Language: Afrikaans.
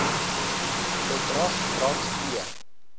bedrag rand p